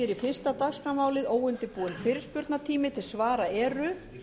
grein þingskapa og stendur í hálfa klukkustund